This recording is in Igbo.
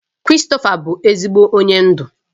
Christopher bụ ezigbo onye ndu